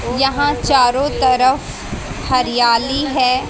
यहां चारों तरफ हरियाली है।